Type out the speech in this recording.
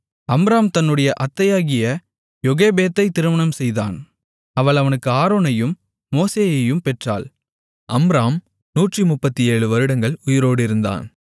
Amram தன்னுடைய அத்தையாகிய யோகெபேத்தைத் திருமணம் செய்தான் அவள் அவனுக்கு ஆரோனையும் மோசேயையும் பெற்றாள் அம்ராம் நூற்றுமுப்பத்தேழு வருடங்கள் உயிரோடு இருந்தான்